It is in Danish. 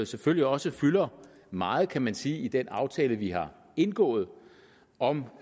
selvfølgelig også fylder meget kan man sige i den aftale vi har indgået om